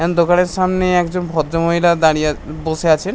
N দোকানের সামনে একজন ভদ্রমহিলা দাঁড়িয়ে বসে আছেন।